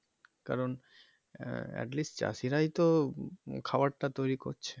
কারণ আহ at least চাষীরাই তো খাওয়ার টা তৈরি করছে।